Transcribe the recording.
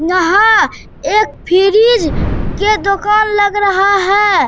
यहाँ एक फ्रिज के दुकान लग रहा है।